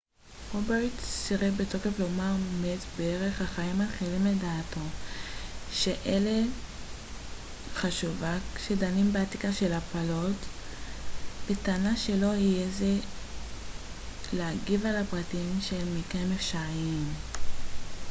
רוברטס סירב בתוקף לומר מת בערך החיים מתחילים לדעתו שאלה חשובה כשדנים באתיקה של הפלות בטענה שלא יהיה זה אתי להגיב על הפרטים של מקרים אפשריים